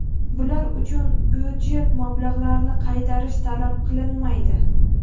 Bular uchun byudjet mablag‘larini qaytarish talab qilinmaydi.